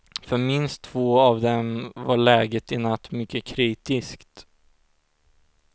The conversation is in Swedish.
För minst två av dem var läget i natt mycket kritiskt.